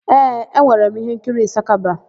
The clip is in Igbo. Ee, e nwere m íhénkiri Ịsakaba.